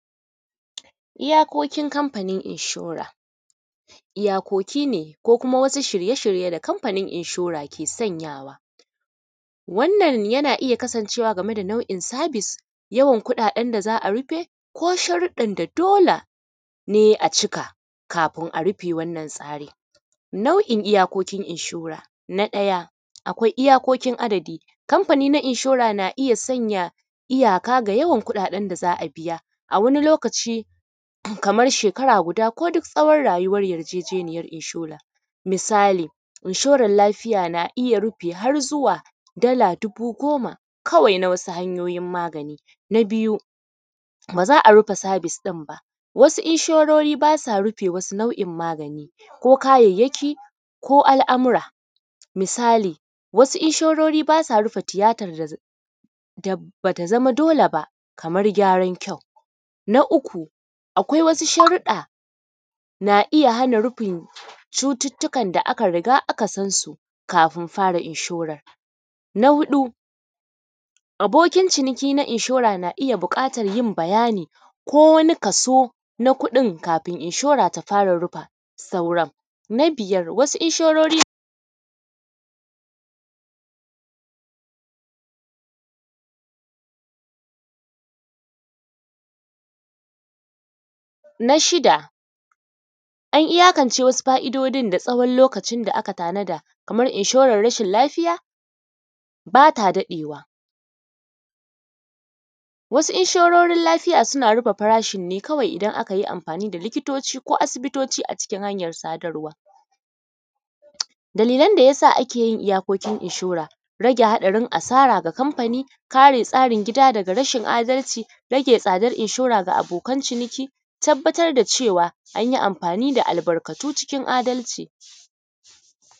Iyakokin Kamfanin inshora. Iyakoki ne ko kuma wasu shirye-shirye da Kamfanin inshora ke sanyawa. Wannan yana iya kasancewa game da nau’in sabis, yawan kuɗaɗen da za a rufe ko sharuɗɗan da dole ne a cika kafin a rufe wannan tsarin. Nau’in iyakokin inshora. Na ɗaya, akwai iyakokin adadi. Kamfani na inshora na iya sanya iyaka ga yawan kuɗaɗen da za a biya. A wani lokaci, kamar shekara guda ko duk tsawon rayuwar yarjejeniyar inshora. Misali, inshoran lafiya na iya rufe har zuwa dala dubu goma kawai na wasu hanyoyin magani. Na biyu, ba za a rufe sabis ɗin ba. Wasu inshorori ba sa rufe wasu nau’in magani ko kayayyaki ko al’amura. Misali, wasu inshorori ba sa rufe tiyatar da ba ta zama dole ba, kamar gyaran kyau. Na uku, akwai wasu sharuɗɗa na iya hana rufin cututtukan da aka riga aka san su kafin fara inshoran. Na huɗu, abokin ciniki na inshora na iya buƙatan yin bayani, ko wani kaso na kuɗin kafin inshora ta fara rufa sauran. Na biyar, wasu inshorori, na shida, an iyakance wasu fa’idodin da tsawon lokacin da aka tanada, kamar inshoran rashin lafiya, ba ta daɗewa. Wasu inshororan lafiya suna rufe farashin ne kawai idan aka yi amfani da likitoci ko asibitoci a cikin hanyar sadarwa. Dalilan da ya sa ake yin iyakokin inshora, rage haɗarin asara ga Kamfani; kare tsarin gida daga rashin adalci; rage tsadar inshora ga abokan ciniki; tabbatar da cewa, an yi amfani da albarkatu cikin adalci.